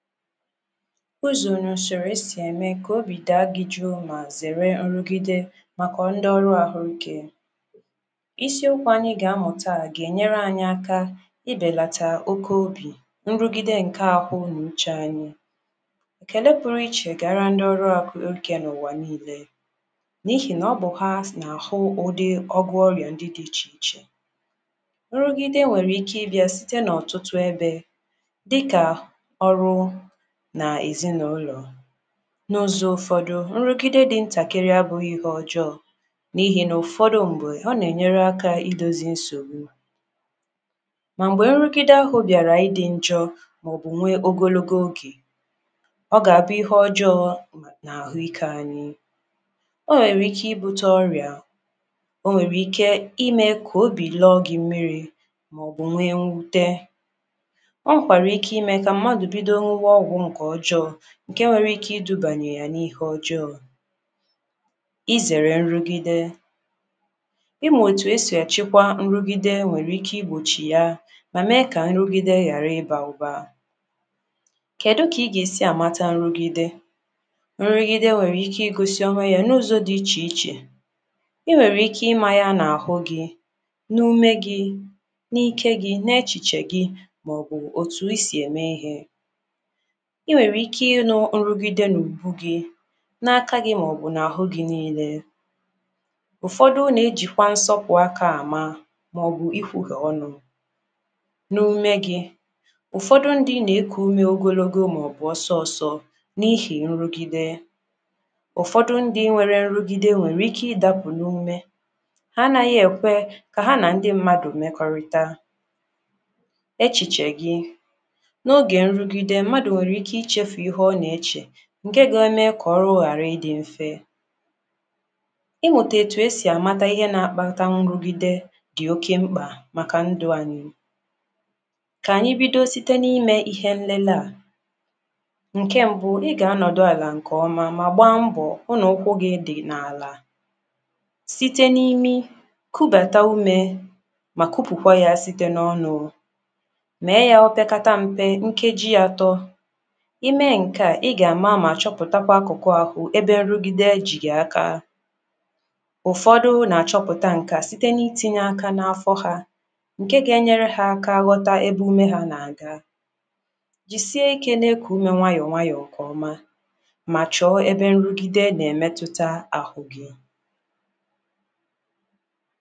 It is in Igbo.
ụnụ zịrị esị eme ka obi daa gị juu ma zere nrugide maka ndoru ahuike Isiokwu anyị gaa amu taa ga enyere anyị aka ibelata oke obi nrugide nke ahu na uche anyị ekele puruiche gara ndị ọrụ ahu oge n’uwa niile n’ihi na ọbụ ha si na ahu udị ọgwo ọrịa ndi di iche iche Nrugide nʷere ike ibia sɪte na ọtụtụ ebe dịka oru n’ezi na ụlọ. n’zọ ụfọdụ nrugide di ntakịrị abughị ihe ọjọọ n’ihe na ụfọdụ mgbe ọ n’enyere aka Idozị nsogbu, ma mgbe nrugide ahu biara ịḍi njọọ maọbụ nwee ogologo oge ọ gaa abu ihe ọjọọ na ahuike anyi ọ nwere ike ibute ọrịa o nwere ike ime ka obi lọgị mmịri maọbụ nwee nwute. ọ nwere kwara ike ime ka mmadu bido n̄uwa ọgwụ nke ọjọọ nke nwere ike idubanye yana ihe ọjọọ i zere nrugide imu etu esi achikwa nrugide nwere ike igbochiya ma mee ka nrugide hara ịba ụba Kedu ka i ga esi amata nrugide nrugide nwere ike igọsi onwe ya n’uzo dị iche iche i nwere ike imaya n’ahu gị n’ume gị n’ike gi n’echichegi maọbụ etuise emee ihe I nwere ike inu nrugide n’ogbu gị n’aka gi maọbụ n’ahu gi niile ụfọdụ n’ejikwa nsopu aka ama maọbụ ifuge onu n’ume gị ụfọdụ ndị n’ku ume n’ogologo maọbụ osooso n'ihe nrugide ụfọdụ ndị nwere nrugide nwere ike idapu n’ume ha anaghi ekwe ka ha na ndị mmadu mekorita echiche gi n’oge nrugide mmada nwere ike ichefu ihe ọ na eche nke ga eme ka ọrụ ghara ịdị mfe ɪmuta etu esi amata ihe na akpata nrugide dị oke mkpa maka ndu anyị ka anyị bido site ime ihe nlele a nke mbụ i ga anọdụ ala nke ọma ma gbaa mbọọ hu na ụkwụ gɪ dɪ na ala site na imi kubata ume ma kupukwa ya site n’ọnụ mee ya opekata mpe nkejị atọ imee kaa I ga ama ma choputakwa akuku ahu ebe nrugide ji gi aka ufodu na achoputa nke a site na itinye aka na afo ha nke ga enyere ha aka igọta ebe ume ha na ga jizie ike n'iko ume nwanyọ nke ọma ma chọ ebe nrugide n’emetụta ahụ gị